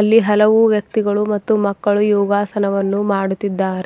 ಅಲ್ಲಿ ಹಲವು ವ್ಯಕ್ತಿಗಳು ಮತ್ತು ಮಕ್ಕಳು ಯೋಗಾಸನವನ್ನು ಮಾಡುತ್ತಿದ್ದಾರೆ.